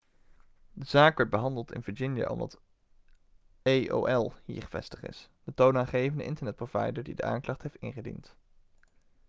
de zaak werd behandeld in virginia omdat aol hier gevestigd is de toonaangevende internetprovider die de aanklacht heeft ingediend